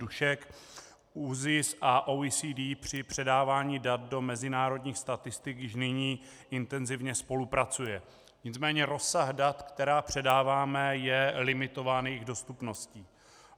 Dušek, ÚZIS a OECD při předávání dat do mezinárodních statistik již nyní intenzivně spolupracují, nicméně rozsah dat, která předáváme, je limitován jejich dostupností.